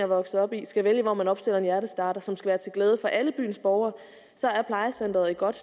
vokset op i skal vælge hvor man opstiller en hjertestarter som skal være til glæde for alle byens borgere så er plejecenteret et godt